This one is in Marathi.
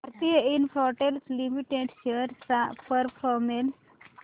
भारती इन्फ्राटेल लिमिटेड शेअर्स चा परफॉर्मन्स